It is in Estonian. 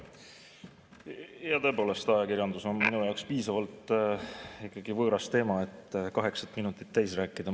Jaa, tõepoolest, ajakirjandus on minu jaoks piisavalt võõras teema, et kaheksat minutit täis rääkida.